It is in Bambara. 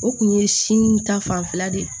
O kun ye si ta fanfɛla de ye